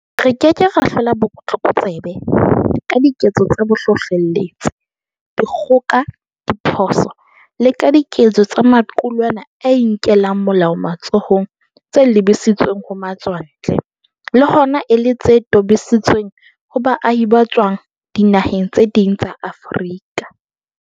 Re ke ke ra hlola botlokotsebe ka diketso tsa bohlohleletsi, dikgoka, ditshoso le ka diketso tsa maqulwana a inkelang molao matsohong tse lebisitsweng ho matswantle, le hona e le tse tobisitsweng ho baahi ba tswang dinaheng tse ding tsa Afrika.